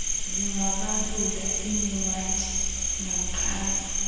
singabalula inewadi kamqhayi